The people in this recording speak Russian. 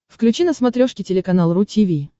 включи на смотрешке телеканал ру ти ви